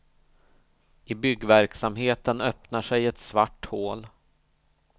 I byggverksamheten öppnar sig ett svart hål.